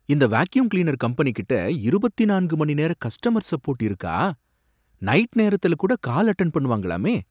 இந்த vacuum cleaner கம்பெனிகிட்ட இருபத்து நான்கு மணி நேர கஸ்டமர் சப்போர்ட் இருக்கா, நைட் நேரத்துல கூட கால் அட்டென்ட் பண்ணுவாங்களாமே